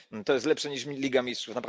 Jest to lepsze niż mi Liga Mistrzów.